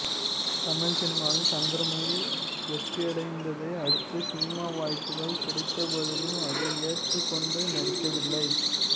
தமிழ் சினிமாவில் சந்திரமுகி வெற்றியடைந்ததை அடுத்து சினிமா வாய்ப்புக்கள் கிடைத்தபோதிலும் அதை ஏற்றுக் கொண்டு நடிக்கவில்லை